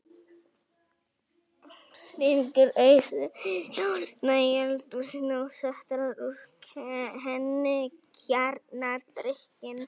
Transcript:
Stingur ausu í skálina í eldhúsinu og sötrar úr henni kjarnadrykkinn.